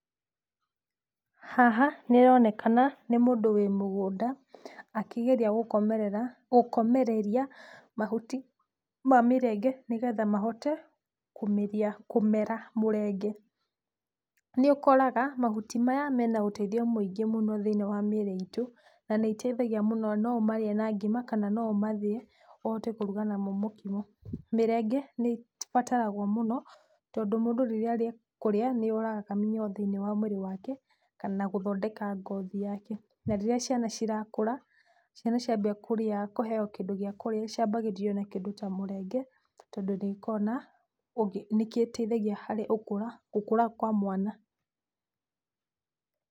Haha nĩronekana nĩ mũndũ wĩ mũgũnda akĩgeria gũkomerera, gũkomereria mahuti ma mĩrenge nĩgetha mahote kũmĩria, kũmera mũrenge. Nĩ ũkoraga mahuti maya mena ũteithio mũingĩ mũno thĩiniĩ wa mĩrĩ itũ, na nĩĩteithagia mũno, na no ũmarĩe na ngima kanano ũmathĩe ũhote kũruga namo mũkimo. Mĩrenge nĩĩbataragwo mũno tondũ mũndũ rĩrĩa arĩkũrĩa nĩyũragaga mĩnyoo thĩini wa mwĩrĩ wake kana, na gũthondeka ngothi yake. Na rĩrĩa ciana cirakũra, ciana ciambia kũrĩa, kũheywo kĩndũ gĩa kũrĩa ciambagĩrĩrio na kĩndũ ta mũrenge tondũ nĩ ĩkoo na nĩkĩteithagia harĩ ũkũra, gũkũra kwa mwana.